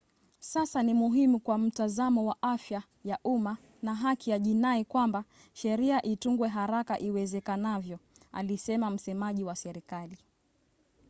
"sasa ni muhimu kwa mtazamo wa afya ya umma na haki ya jinai kwamba sheria itungwe haraka iwezekanavyo alisema msemaji wa serikali